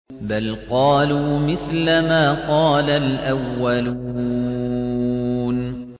بَلْ قَالُوا مِثْلَ مَا قَالَ الْأَوَّلُونَ